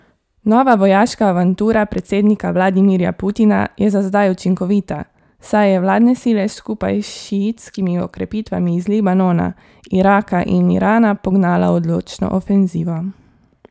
Nova vojaška avantura predsednika Vladimirja Putina je za zdaj učinkovita, saj je vladne sile skupaj s šiitskimi okrepitvami iz Libanona, Iraka in Irana pognala v odločno ofenzivo.